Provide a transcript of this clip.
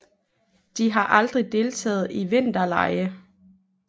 De har aldrig deltaget i vinterlege